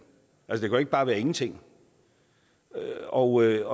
altså ikke bare være ingenting og jeg